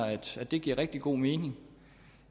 at det giver rigtig god mening